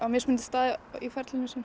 mismunandi stað í ferlinu sínu